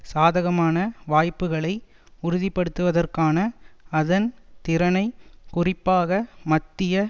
சாதகமான வாய்ப்புக்களை உறுதிப்படுத்துவதற்கான அதன் திறனை குறிப்பாக மத்திய